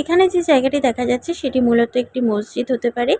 এখানে যে জায়গাটি দেখা যাচ্ছে সেটি মূলত একটি মসজিদ হতে পারে